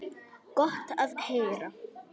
Gott að heyra.